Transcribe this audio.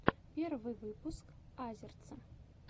первый выпуск азерца